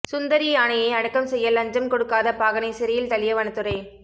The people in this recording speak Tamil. சுந்தரி யானையை அடக்கம் செய்ய லஞ்சம் கொடுக்காத பாகனை சிறையில் தள்ளிய வனத்துறை